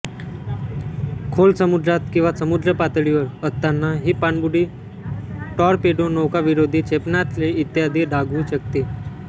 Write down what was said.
खोल समुद्रात किंवा समुद्रपातळीवर असतांना ही पाणबुडी टॉरपेडो नौकाविरोधी क्षेपणास्त्रे इत्यादी दागू शकते